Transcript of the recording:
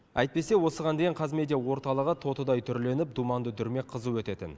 әйтпесе осыған дейін қазмедиа орталығы тотыдай түрленіп думанды дүрмек қызу өтетін